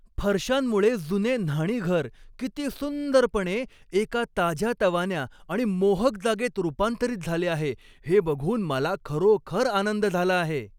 फरशांमुळे जुने न्हाणीघर किती सुंदरपणे एका ताज्यातवान्या आणि मोहक जागेत रूपांतरित झाले आहे हे बघून मला खरोखर आनंद झाला आहे.